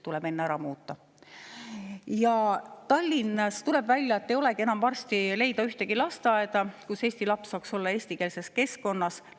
Tuleb välja, et varsti ei leidu Tallinnas enam ühtegi lasteaeda, kus eesti laps saaks olla eestikeelses keskkonnas.